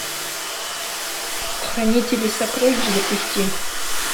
хранители сокровищ запусти